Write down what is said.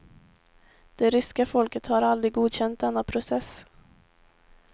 Det ryska folket har aldrig godkänt denna process.